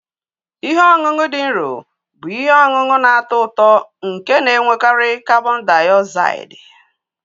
Ihe ọṅụṅụ dị nro bụ ihe ọṅụṅụ na-atọ ụtọ nke na-enwekarị karbon diozaidi.